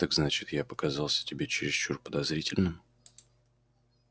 так значит я показался тебе чересчур подозрительным